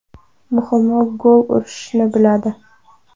Muhimi, gol urishni biladi.